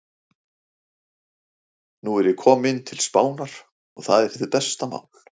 Nú er ég kominn til Spánar. og það er hið besta mál.